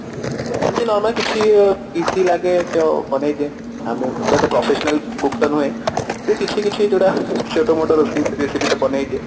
ଏମିତି normally କିଛି easy ଲାଗେ ତ ବନେଇ ଦିଏ professional cook ତ ନୁହେଁ ତ କିଛି କିଛି ଯୋଉଟା ଛୋଟ ମୋଟ recipe ତ ବନେଇ ଦିଏ